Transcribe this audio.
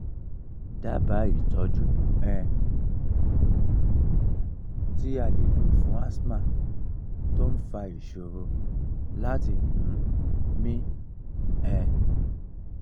daba itoju um ti ale lo fun asthma to n fa isoro lati um mi um